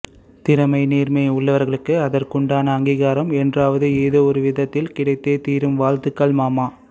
திறமை நேர்மை உள்ளவர்களுக்கு அதற்குண்டான அங்கீகாரம் என்றாவது ஏதோ ஒரு விதத்தில் கிடைத்தே தீரும் வாழ்த்துக்கள் மாமா